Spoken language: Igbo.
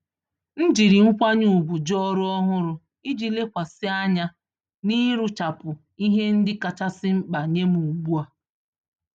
M jiri nkwanye ùgwù jụ ọrụ ọhụrụ iji lekwasị anya n'ịrụchapụ ihe ndị kachasị mkpa nyem ùgbúà